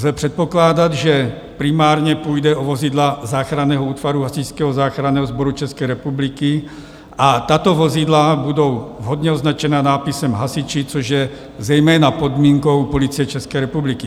Lze předpokládat, že primárně půjde o vozidla záchranného útvaru Hasičského záchranného sboru České republiky a tato vozidla budou vhodně označena nápisem Hasiči, což je zejména podmínkou Policie České republiky.